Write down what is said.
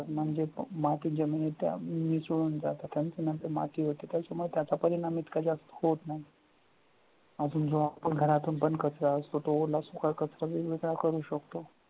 जे मातीत जमिनीच्या मिसळून जातात आणि ती नंतर माती होते. त्याच्यामुळे त्याचा परिणाम इतका जास्त होत नाही. अजून जो आपण घरातून पण कचरा असतो तो ओला सुका कचरा वेगवेगळा करू शकतो.